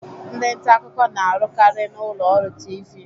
Ndị nta akụkọ na-arukari na ụlọ ọrụ Tiivii.